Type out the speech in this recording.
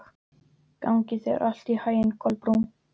Gangi þér allt í haginn, Kolbrún.